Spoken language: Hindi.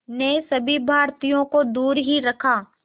ने सभी भारतीयों को दूर ही रखा